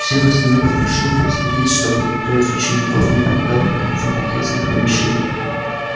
всех остальных попрошу проследить чтобы никто из учеников не покидал факультетских помещений